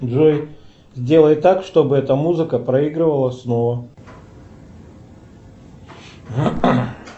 джой сделай так чтобы эта музыка проигрывалась снова